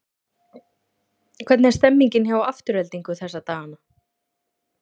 Hvernig er stemmningin hjá Aftureldingu þessa dagana?